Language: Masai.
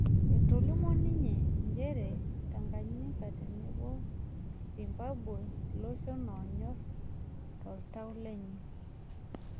Etolimuo ninye njere Tanganyika tenebo Zimbambwe iloshon aonyor toltau lenye